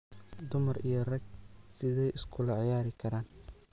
Dumar iyo raag sidhey uskulaciyarikaran.